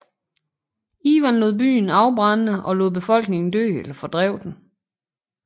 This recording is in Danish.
Ivan lod byen afbrænde og lod befolkningen dø eller fordrev den